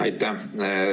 Aitäh!